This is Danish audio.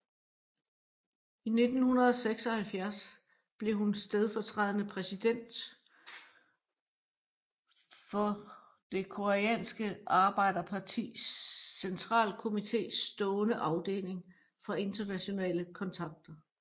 I 1976 blev hun stedfortrædende præsident for det Det Koreanske Arbejderpartis centralkomites stående afdeling for internationale kontakter